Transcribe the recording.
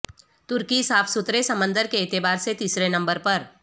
ترکی صاف ستھرے سمندر کے اعتبار سے تیسرے نمبر پر